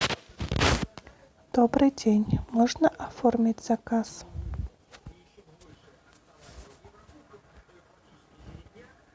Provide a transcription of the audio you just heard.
добрый день можно оформить заказ